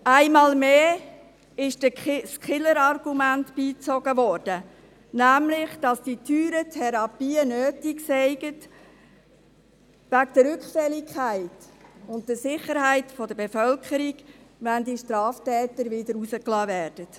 Einmal mehr wurde das Killerargument beigezogen, nämlich, dass die teuren Therapien nötig seien wegen der Rückfälligkeit und der Sicherheit der Bevölkerung, wenn die Straftäter wieder entlassen werden.